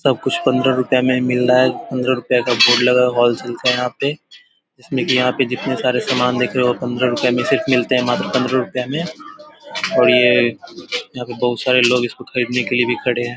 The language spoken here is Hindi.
सब कुछ पन्द्र रूपया में मिल रहा है पन्द्र रूपया का बोर्ड लगा है होलसेल का यहाँ पे जितने सारे सामान दिख रहे वो पन्द्र रूपया में मात्र पन्द्र रुपयों में और ये यहाँ पे बहुत सारे लोग इसको खरीदने के लिए भी खड़े है।